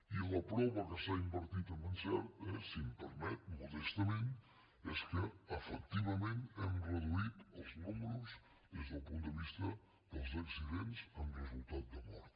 i la prova que s’ha invertit amb encert eh si em permet modestament és que efectivament hem reduït els números des del punt de vista dels accidents amb resultat de mort